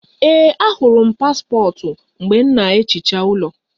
Ee, ahụrụ m paspọtụ mgbe m na-ehicha ụlọ